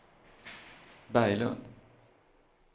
Berglund